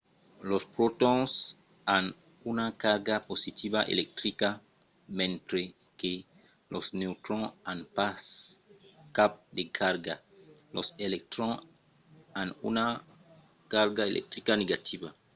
los protons an una carga positiva electrica mentre que los neutrons an pas cap de carga. los electrons an una carga electrica negativa